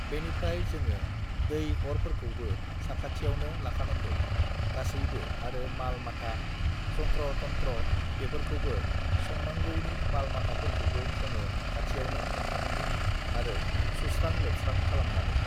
"बेनिफ्राय जोङो दै-अरफोरखौबोसाखाथियावनो लाखानांगौ गासैबो आरो माल-माथा, जन्थ्र-तन्थ्र बेफोरखौबो संनांगौनि माल-माथाफोरखौबो जोङो खाथियावनो लाखानांगौ आरो सुस्रां-लोबस्रां खालामनानै"